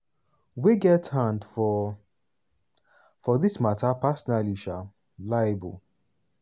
wey get hand for for dis mata personally um liable.